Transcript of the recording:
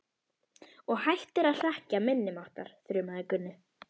Og hættir að hrekkja minni máttar, þrumaði Gunni.